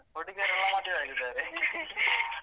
ಹುಡುಗಿರೆಲ್ಲ ಮದ್ವೆ ಆಗಿದ್ದಾರೆ .